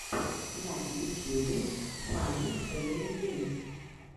на ютьюбе фанни фэмили геймс